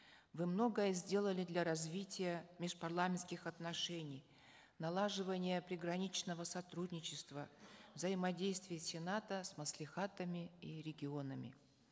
вы многое сделали для развития межпарламентских отношений налаживания приграничного сотрудничества взаимодействия сената с маслихатами и регионами